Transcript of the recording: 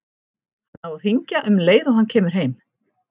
Hann á að hringja um leið og hann kemur heim.